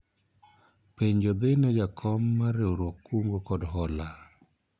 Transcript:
penjo ni dhine jakom mar riwruog kungo kod hola